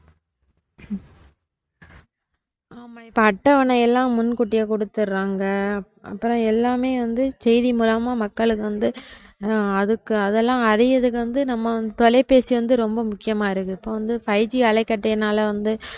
ஆமா இப்ப அட்டவனையெல்லாம் முன்கூட்டியே கொடுத்திருறாங்க அப்பறம் எல்லாமே வந்து செய்தி மூலமா மக்களுக்கு வந்து அதுக்கு அதெல்லாம் அடையுறதுக்கு வந்து நம்ம தொலைபேசி வந்து ரொம்ப முக்கியமா இருக்கு. இப்ப வந்து fiveG அலைகற்றையினால வந்து